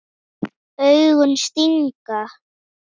Hverjir eru þar?